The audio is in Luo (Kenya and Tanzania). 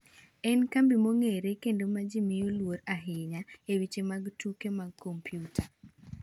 En kambi mong’ere kendo ma ji miyo luor ahinya e weche mag tuke mag kompyuta.